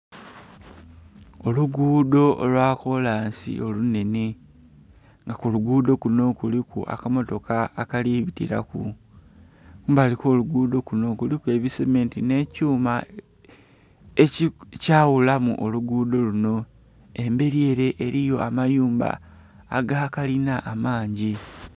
Oluguudho olwa kolansi olunhene nga mulugudho kinho kuliku akamotoka akali bitilaku kumbali kwo luguudho kunho kuliku ebisiminti nhe kyuma ekya ghulamu olugudho lunho, emberi ere eriyo amayumba aga kalina amangi.